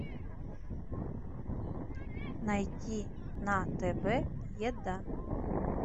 найти на тв еда